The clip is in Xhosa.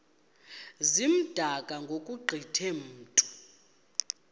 zimdaka ngokugqithe mntu